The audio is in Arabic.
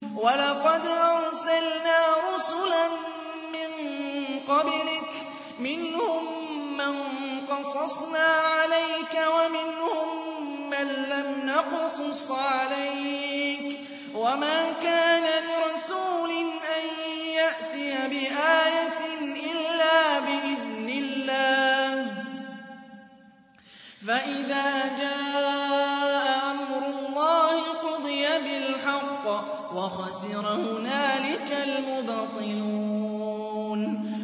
وَلَقَدْ أَرْسَلْنَا رُسُلًا مِّن قَبْلِكَ مِنْهُم مَّن قَصَصْنَا عَلَيْكَ وَمِنْهُم مَّن لَّمْ نَقْصُصْ عَلَيْكَ ۗ وَمَا كَانَ لِرَسُولٍ أَن يَأْتِيَ بِآيَةٍ إِلَّا بِإِذْنِ اللَّهِ ۚ فَإِذَا جَاءَ أَمْرُ اللَّهِ قُضِيَ بِالْحَقِّ وَخَسِرَ هُنَالِكَ الْمُبْطِلُونَ